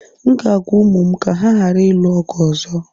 M ga-agwa ụmụ m ka ha ghara ịlụ ọgụ ọzọ